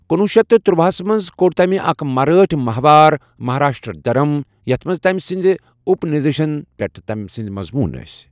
کُنوُہ شیٚتھ ترۄَہس منز كو٘ڈ تمہِ اكھ مرٲٹھہِ ماہوار مہاراشٹر دھرم یتھ منز تمہِ سٕندِ اٗپ نِشدن پیٹھ تمہِ سٕندِ مضمون ٲسۍ ۔